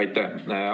Aitäh!